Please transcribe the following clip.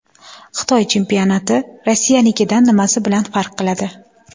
Xitoy chempionati Rossiyanikidan nimasi bilan farq qiladi?